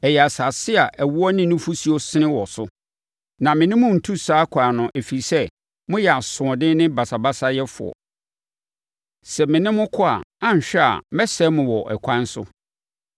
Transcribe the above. Ɛyɛ asase a ɛwoɔ ne nufosuo sene wɔ so. Na me ne mo rentu saa ɛkwan no ɛfiri sɛ, moyɛ asoɔden ne basabasayɛfoɔ. Sɛ me ne mo kɔ a, anhwɛ a, mɛsɛe mo wɔ ɛkwan so.”